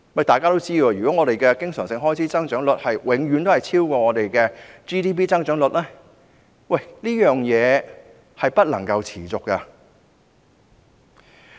大家都知道，如果經常性開支的增長率永遠超越 GDP 的增長率，這是不能持續的。